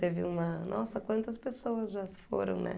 Teve uma... Nossa, quantas pessoas já se foram, né?